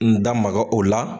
N da maga o la